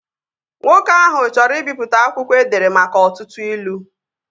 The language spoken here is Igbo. Nwoke ahụ chọrọ ibipụta akwụkwọ edere maka ọtụtụ ilu